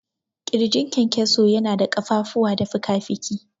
ƙirjin kyankyaso yana da ƙafafuwa da fikafiki.